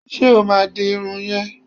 Ṣé o máa di irun yẹn?